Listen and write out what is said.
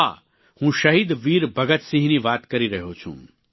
હા હું શહીદ વીર ભગતસિંહની વાત કરી રહ્યો છું